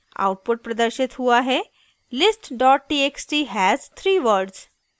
output प्रदर्शित हुआ है: list dot txt has 3 words